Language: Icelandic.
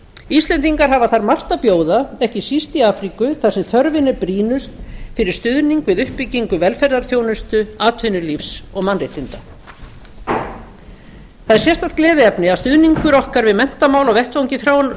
íslendingar hafa þar margt að bjóða ekki síst í afríku þar sem þörfin er brýnust fyrir stuðning við uppbyggingu velferðarþjónustu atvinnulífs og mannréttinda það er sérstakt gleðiefni að stuðningur okkar við menntamál á vettvangi